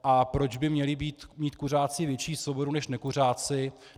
A proč by měli mít kuřáci větší svobodu než nekuřáci?